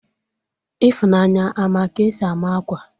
Ifunanya a ma ka-esi ama akwa?